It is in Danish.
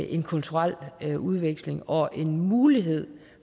en kulturel udveksling og en mulighed